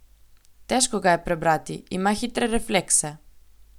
Težko ga je prebrati, ima hitre reflekse.